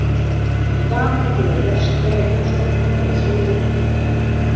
Í dag fengu þeir Vestra í heimsókn og báru sigur úr býtum.